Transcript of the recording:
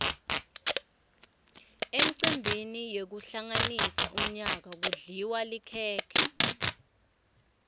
emcimbini wekuhlanganisa umyaka kudliwa likhekhe